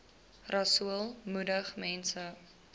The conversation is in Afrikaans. rasool moedig mense